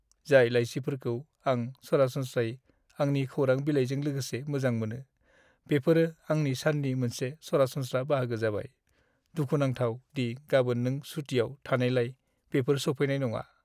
जाय लाइसिफोरखौ आं सरासनस्रायै आंनि खौरां बिलाइजों लोगोसे मोजां मोनो, बेफोरो आंनि साननि मोनसे सरासनस्रा बाहागो जाबाय। दुखु नांथाव दि गाबोन नों सुतिआव थानायलाय बिफोर सौफैनाय नङा।